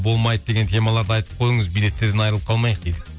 болмайды деген темаларды айтып қойыңыз билеттерден айырылып қалмайық дейді